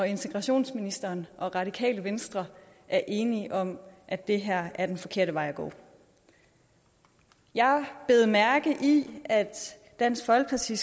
integrationsministeren og radikale venstre er enige om at det her er den forkerte vej at gå jeg bed mærke i at dansk folkeparti